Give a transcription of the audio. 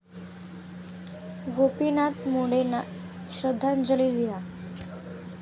गोपीनाथ मुंडेंना श्रद्धांजली लिहा